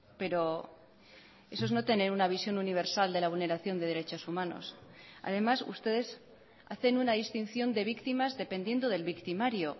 pero eso es no tener una visión universal de la vulneración de derechos humanos además ustedes hacen una distinción de víctimas dependiendo del victimario